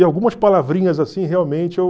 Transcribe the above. E algumas palavrinhas assim realmente eu...